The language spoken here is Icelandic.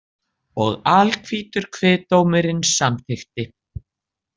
Og alhvítur kviðdómurinn samykkti.